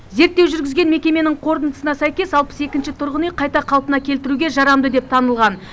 зерттеу жүргізген мекеменің қорытындысына сәйкес алпыс екінші тұрғын үй қайта қалпына келтіруге жарамды деп танылған